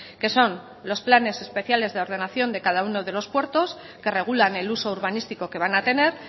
que son los planes especiales de ordenación de cada uno de los puertos que regulan el uso urbanístico que van a tener